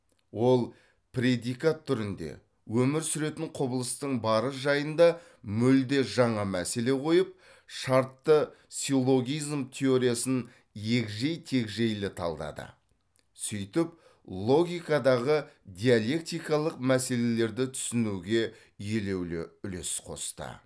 ол предикат түрінде өмір сүретін құбылыстың бары жайында мүлде жаңа мәселе қойып шартты силлогизм теориясын егжей тегжейлі талдады сөйтіп логикадағы диалектикалық мәселелерді түсінуге елеулі үлес қосты